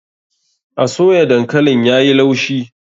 A soya dankalin yayi laushi.